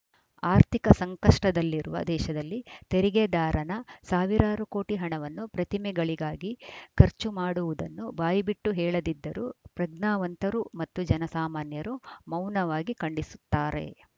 ಅರ್ಥಿಕ ಸಂಕಷ್ಟದಲ್ಲಿರುವ ದೇಶದಲ್ಲಿ ತೆರಿಗೆದಾರನ ಸಾವಿರಾರು ಕೋಟಿ ಹಣವನ್ನು ಪ್ರತಿಮೆಗಳಿಗಾಗಿ ಖರ್ಚು ಮಾಡುವುದನ್ನು ಬಾಯಿಬಿಟ್ಟು ಹೇಳದಿದ್ದರೂ ಪ್ರಜ್ಞಾವಂತರು ಮತ್ತು ಜನಸಾಮಾನ್ಯರು ಮೌನವಾಗಿ ಖಂಡಿಸುತ್ತಾರೆ